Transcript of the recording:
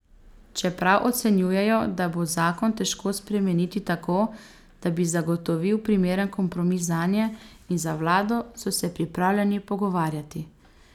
Čeprav ocenjujejo, da bo zakon težko spremeniti tako, da bi zagotovil primeren kompromis zanje in za vlado, so se pripravljeni pogovarjati.